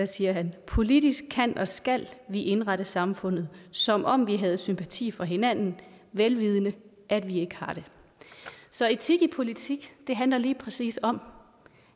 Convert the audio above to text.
siger han politisk kan og skal vi indrette samfundet som om vi havde sympati for hinanden vel vidende at vi ikke har det så etik i politik handler lige præcis om